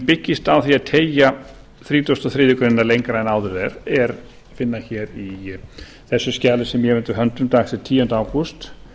byggist á því að teygja þrítugasta og þriðju grein lengra en áður er er að finna í þessu skjali sem ég hef undir höndum dags tíunda ágúst